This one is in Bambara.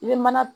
I bɛ mana